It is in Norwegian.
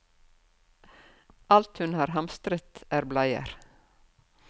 Alt hun har hamstret er bleier.